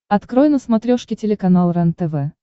открой на смотрешке телеканал рентв